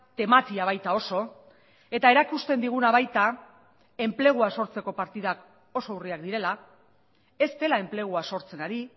tematia baita oso eta erakusten diguna baita enplegua sortzeko partidak oso urriak direla ez dela enplegua sortzen ari